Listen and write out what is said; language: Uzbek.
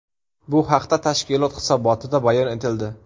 Bu haqda tashkilot hisobotida bayon etildi .